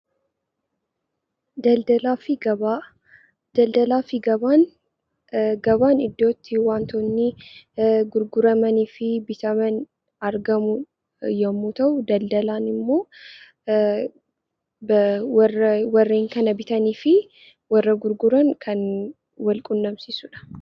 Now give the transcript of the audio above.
Gabaan iddoo itti wantoonni gurguramanii fi bitaman argamu yommuu ta'u , daldalli immoo warreen kana bitanii fi warra gurguran kan wal quunnamsiisudha.